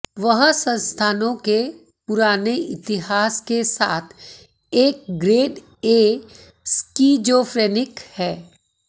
वह संस्थानों के पुराने इतिहास के साथ एक ग्रेड ए स्किज़ोफ्रेनिक है